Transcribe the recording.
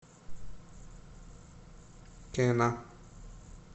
кена